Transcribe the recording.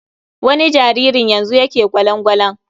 Wani jaririn yanzu yake gwalan-gwalan.